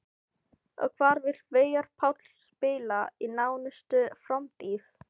Og hvar vill Veigar Páll spila í nánustu framtíð?